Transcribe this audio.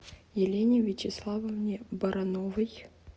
елене вячеславовне барановой